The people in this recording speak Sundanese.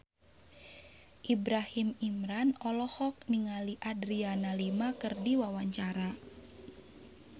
Ibrahim Imran olohok ningali Adriana Lima keur diwawancara